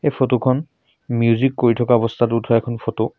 ফটোখন মিউজিক কৰি থকা অৱস্থাত উঠোৱা এখন ফটো ।